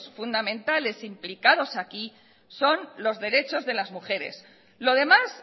fundamentales implicados aquí son los derechos de las mujeres lo demás